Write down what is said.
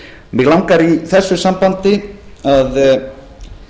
mig langar í þessu sambandi til að